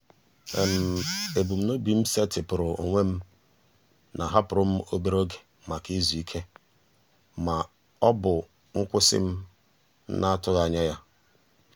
ebumnobi m setịpụrụ onwe m na-ahapụrụ m obere oge maka izu ike ma ọ bụ nkwụsị m na-atụghị anya ya.